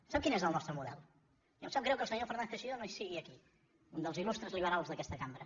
sap quin és el nostre model i em sap greu que el senyor fernández teixidó no sigui aquí un dels il·lustres liberals d’aquesta cambra